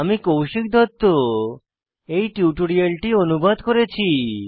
আমি কৌশিক দত্ত টিউটোরিয়ালটি অনুবাদ করেছি